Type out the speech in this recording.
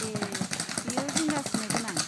ए, बेयो जिंगासिनो गोनां।